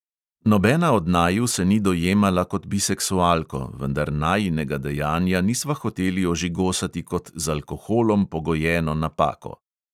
Nobena od naju se ni dojemala kot biseksualko, vendar najinega dejanja nisva hoteli ožigosati kot z alkoholom pogojeno napako.